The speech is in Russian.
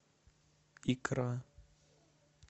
икра